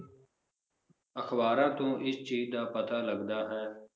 ਅਖਬਾਰਾਂ ਤੋਂ ਇਸ ਚੀਜ਼ ਦਾ ਪਤਾ ਲੱਗਦਾ ਹੈ